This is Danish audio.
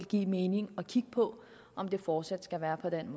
give mening at kigge på om de fortsat skal være sådan